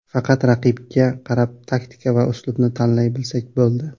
Faqat raqibga qarab taktika va uslubni tanlay bilsak bo‘ldi.